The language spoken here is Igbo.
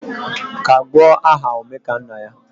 Kagbuo aha Omekannaya